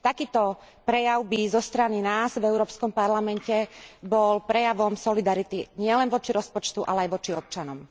Takýto prejav by zo strany nás v Európskom parlamente bol prejavom solidarity nielen voči rozpočtu, ale aj voči občanom.